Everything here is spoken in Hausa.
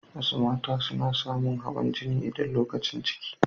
Wasu mata suna samu hawan jini idan lokacin ciki.